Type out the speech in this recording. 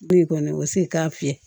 Foyi kɔni o se k'a fiyɛ